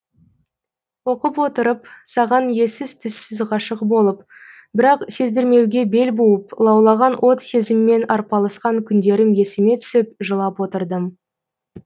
оқып отырып саған ессіз түссіз ғашық болып бірақ сездірмеуге бел буып лаулаған от сезіммен арпалысқан күндерім есіме түсіп жылап отырдым